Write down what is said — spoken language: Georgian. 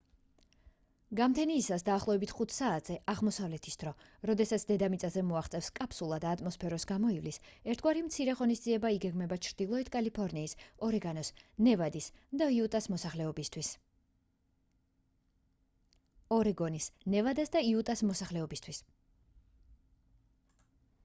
გამთენიისას დაახლოებით 5 საათზე აღმოსავლეთის დრო როდესაც დედამიწამდე მოაღწევს კაფსულა და ატმოსფეროს გამოივლის ერთგვარი მცირე ღონისძიება იგეგმება ჩრდილოეთ კალიფორნიის ორეგონის ნევადას და იუტას მოსახლეობისთვის